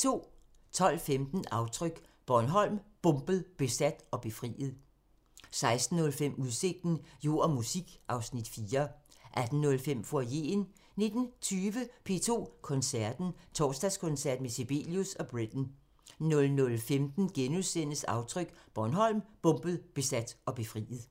12:15: Aftryk – Bornholm, bombet, besat og befriet 16:05: Udsigten – Jord og musik (Afs. 4) 18:05: Foyeren 19:20: P2 Koncerten – Torsdagskoncert med Sibelius og Britten 00:15: Aftryk – Bornholm, bombet, besat og befriet *